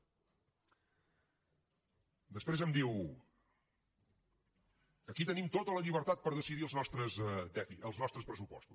després em diu aquí tenim tota la llibertat per decidir els nostres pressupostos